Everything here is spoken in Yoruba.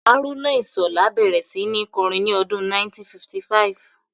Haruna Ishola bẹ̀rẹ̀ sí ní kọrin ní ọdún 1955